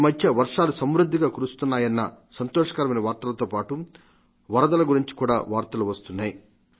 ఈ మధ్య వర్షాలు సమృద్ధిగా కురుస్తున్నాయన్న సంతోషకమైన వార్తలతో పాటు వరదల గురించి కూడా వార్తలు వస్తున్నాయి